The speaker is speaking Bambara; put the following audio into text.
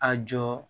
A jɔ